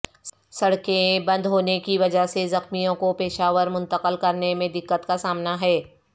سڑکیں بندہونے کی وجہ سے زخمیوں کو پشاورمنتقل کرنے میں دقت کا سامنا ہے